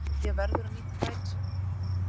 Gummi Pé verður að nýta færin sín!